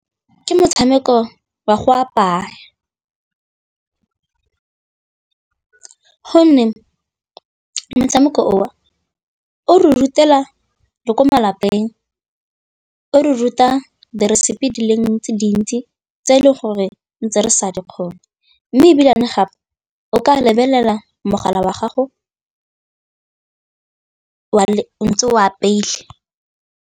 Ke motshameko wa go apaya gonne motshameko oo o re rutela le ko malapeng o re ruta diresepi di le dintsi tse e leng gore ntse re sa di kgone mme ebile gape o ka lebelela mogala wa gago o ntse o apeile.